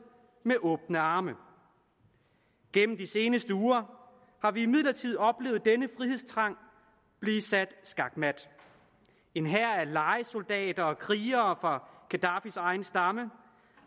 med åbne arme gennem de seneste uger har vi imidlertid oplevet denne frihedstrang blive sat skakmat en hær af lejesoldater og krigere fra gaddafis egen stamme